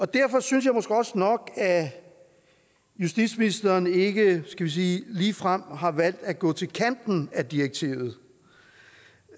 derfor synes jeg måske også nok at justitsministeren ikke skal vi sige ligefrem har valgt at gå til kanten af direktivet det